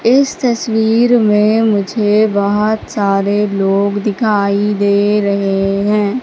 इस तस्वीर में मुझे बहुत सारे लोग दिखाई दे रहे हैं।